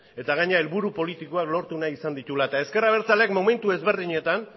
eta gainera helburu politikoak lortu nahi izan dituela eta ezker abertzaleak momentu ezberdinetan